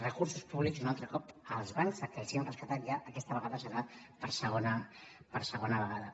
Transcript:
recursos públics un altre cop als bancs aquells que ja hem rescatat ja i aquesta vegada serà per segona vegada